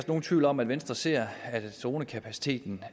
nogen tvivl om at venstre ser at dronekapaciteten